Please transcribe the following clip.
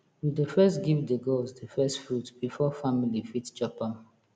we dey first give the gods the first fruit before family fit chop am